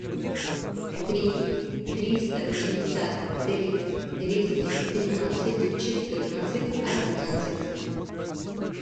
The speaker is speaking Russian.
три триста пятьдесят три двести тринадцать четырнадцать одиннадцать